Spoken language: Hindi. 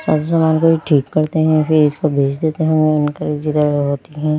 सब सामान को ये ठीक करते हैं फिर इसको भेज देते हैं जिधर होती है--